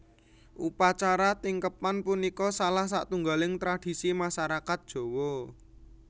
Upacara tingkeban punika salah satunggaling tradisi masarakat Jawa